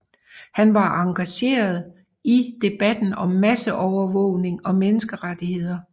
Han har engageret sig i debatten om masseovervågning og menneskerettigheder